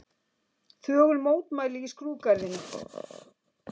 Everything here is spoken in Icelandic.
Þögul mótmæli í skrúðgarðinum